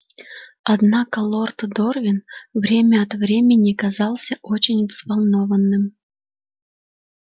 однако лорд дорвин время от времени казался очень взволнованным